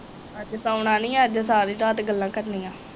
ਅੱਜ ਸੌਣਾ ਨੀ ਅੱਜ ਸਾਰੀ ਰਾਤ ਗੱਲਾਂ ਕਰਨੀਆਂ